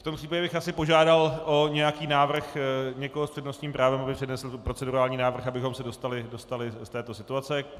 V tom případě bych asi požádal o nějaký návrh někoho s přednostním právem, aby přednesl procedurální návrh, abychom se dostali z této situace.